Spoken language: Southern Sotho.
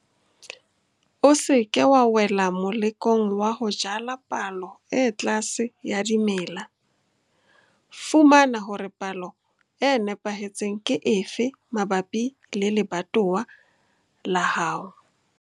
O se ke wa wela molekong wa ho jala palo e tlase ya dimela. Fumana hore palo e nepahetseng ke efe mabapi le lebatowa la hao.